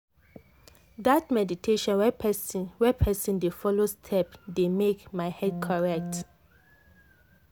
that meditation wey person wey person dey follow step dey make my head correct.